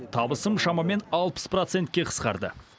табысым шамамен алпыс процентке қысқарды